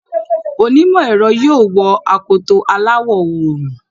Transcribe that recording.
Onímọ̀ ẹ̀rọ yóò wọ akoto aláwọ̀ òòrùn.